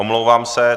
Omlouvám se.